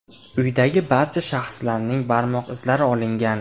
Uydagi barcha shaxslarning barmoq izlari olingan.